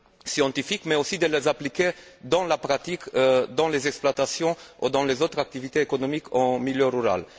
scientifique, mais aussi de les appliquer dans la pratique, dans les exploitations ou dans les autres activités économiques en milieu rural.